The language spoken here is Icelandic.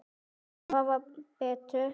Og hafa betur.